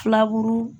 Filaburu